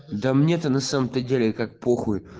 да мне-то на самом-то деле как похуй